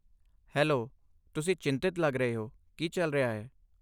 Hello, ਤੁਸੀਂ ਚਿੰਤਤ ਲੱਗ ਰਹੇ ਹੋ, ਕੀ ਚੱਲ ਰਿਹਾ ਹੈ?